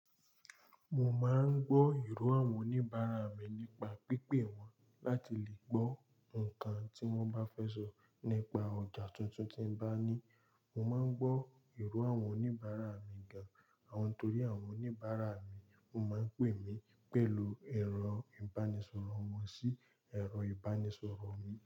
Mo máa ń gbọ́ èrò àwọn oníbàárà mi nípa pípé wọ́n láti lè gbọ́ nǹkan tí wọ́n bá fẹ́ sọ. Nípa ọjà tuntun tí ń bá ní, mo máa ń gbọ́ èrò àwọn oníbàárà mi gan-an torí àwọn oníbàárà mi máa ń pè mí pẹ̀lú ẹ̀rọ ìbánisọ̀rọ̀ wọn sí ẹ̀rọ ìbánisọ̀rọ̀ mi.